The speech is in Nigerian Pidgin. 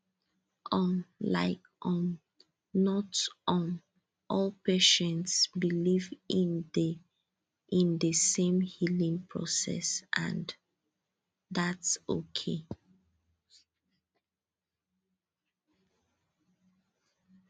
um like um not um all patients believe in the in the same healing process and thats okay